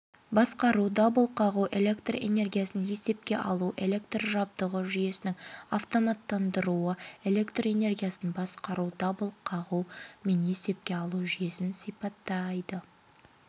басқару дабыл қағу электроэнергиясын есепке алу электр жабдығы жүйесінің автоматтандыруы электроэнергиясын басқару дабыл қағу мен есепке алу жүйесін сипаттайды